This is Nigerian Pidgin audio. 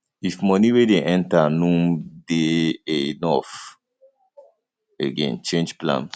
if money wey dey enter no um de um dey enough again change plans